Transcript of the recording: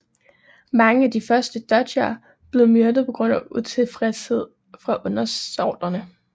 Mange af de første doger blev myrdet pga utilfredshed fra undersåtterne